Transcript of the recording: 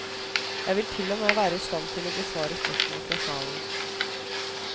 Jeg vil til og med være i stand til å besvare spørsmål fra salen.